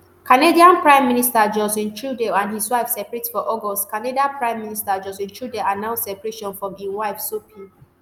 canadian prime minister justin trudeau and wife separate for august canada prime minister justin trudeau announce separation from im wife sophie